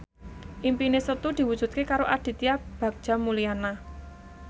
impine Setu diwujudke karo Aditya Bagja Mulyana